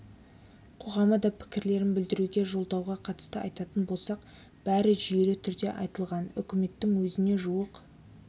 қоғамы да пікірлерін білдіруде жолдауға қатысты айтатын болсақ бәрі жүйелі түрде айтылған үкіметтің өзіне жуық